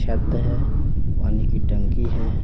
शब्द है पानी की टंकी है।